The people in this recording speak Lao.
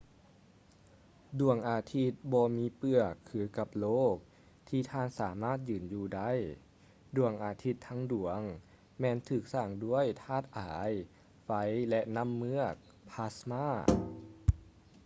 ດວງອາທິດບໍ່ມີເປືອກຄືກັບໂລກທີ່ທ່ານສາມາດຢືນຢູ່ໄດ້. ດວງອາທິດທັງດວງ ແມ່ນຖືກສ້າງດ້ວຍທາດອາຍ ໄຟ ແລະ ນ້ຳເມືອກ plasma